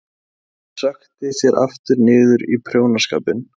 Hún sökkti sér aftur niður í prjónaskapinn.